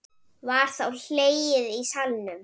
Var þá hlegið í salnum.